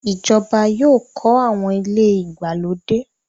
Ìjọba yóò kọ̀ awọn ilẹ̀ igbalodẹ.